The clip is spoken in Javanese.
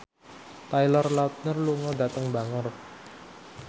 Taylor Lautner lunga dhateng Bangor